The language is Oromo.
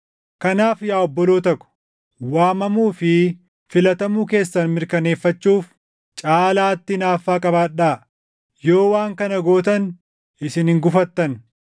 Kanaaf yaa obboloota ko, waamamuu fi filatamuu keessan mirkaneeffachuuf caalaatti hinaaffaa qabaadhaa. Yoo waan kana gootan isin hin gufattan;